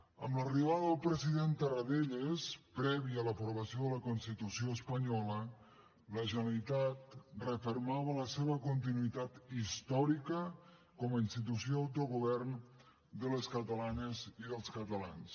amb l’arribada del president tarradellas prèvia a l’aprovació de la constitució espanyola la generalitat refermava la seva continuïtat històrica com a institució d’autogovern de les catalanes i dels catalans